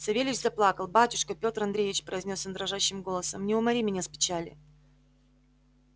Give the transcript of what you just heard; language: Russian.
савельич заплакал батюшка пётр андреич произнёс он дрожащим голосом не умори меня с печали